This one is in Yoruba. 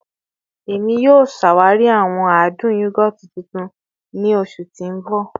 Emi yoo ṣawari awọn adun yogurt tuntun ni oṣu ti n bọ